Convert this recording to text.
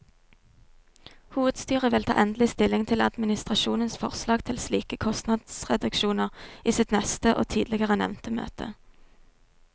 Hovedstyret vil ta endelig stilling til administrasjonens forslag til slike kostnadsreduksjoner i sitt neste og tidligere nevnte møte.